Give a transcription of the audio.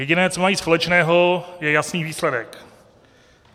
Jediné, co mají společného, je jasný výsledek.